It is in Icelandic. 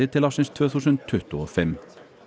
til ársins tvö þúsund tuttugu og fimm